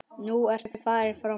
Nú ertu farinn frá mér.